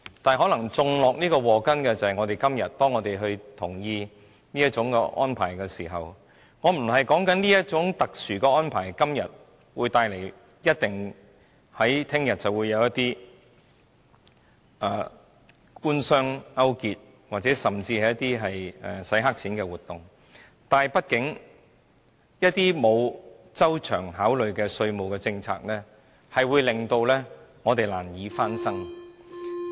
不過，種下禍根的，可能便是因為我們今天同意這個安排，我不是說這種特殊的安排，明天一定會帶來官商勾結，甚至"洗黑錢"的活動，但畢竟一些沒有周詳考慮的稅務政策，會令我們難以翻身。